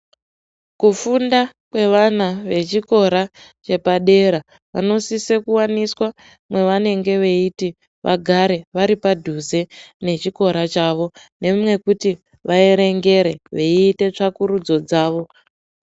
Kufunda kwevana vechikora chepadera vanosise kuwaniswa mwavanenge veiti vagare varipadhuze nechikora chavo. Nemwekuti vaerengere veiita tsvakurudzo dzavo.